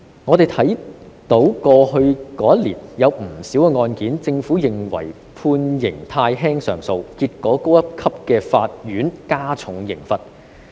我們看到在過去一年間，對於不少案件，政府都認為判刑太輕而提出上訴，結果高一級的法院加重刑罰。